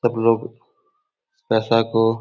सब लोग पैसा को --